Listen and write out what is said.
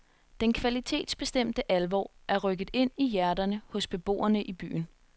Den kvalitetsbestemte alvor er rykket ind i hjerterne hos beboerne i byen.